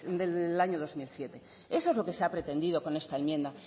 del año dos mil siete eso es lo que se ha pretendido con esta enmienda